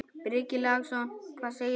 Breki Logason: Hvað segir þú?